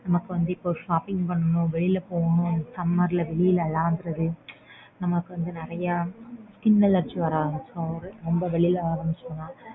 நமக்கு வந்து இப்போ shopping பண்ணனும் வெளில போணும் summer ல வெளிய லாந்தறது நமக்கு வந்து நறைய skin allergy வர ஆரம்பிச்சுடும். ரொம்ப வெளிய அலைஞ்சோம்ன்னா.